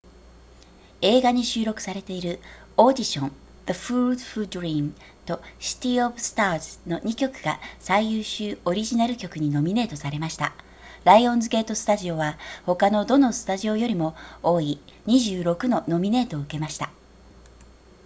映画に収録されているオーディション the fools who dream とシティオブスターズの2曲が最優秀オリジナル曲にノミネートされましたライオンズゲートスタジオは他のどのスタジオよりも多い26のノミネートを受けました